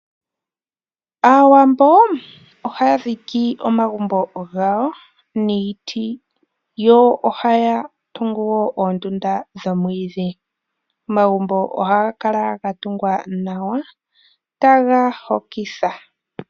Aawambo ohaya dhiki omagumbo gawo niiti yo ohaya tungu wo oondunda dhomwiidhi. Omagumbo ohaga kala ga tungwa nawa, taga hokitha.